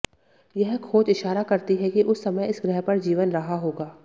यह खोज इशारा करती है कि उस समय इस ग्रह पर जीवन रहा होगा